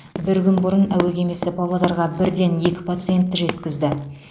бір күн бұрын әуе кемесі павлодарға бірден екі пациентті жеткізді